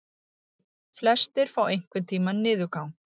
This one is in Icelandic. Flestir fá einhvern tíma niðurgang.